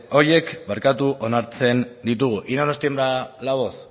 horiek onartzen ditugu y no nos tiembla la voz